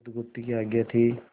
बुधगुप्त की आज्ञा थी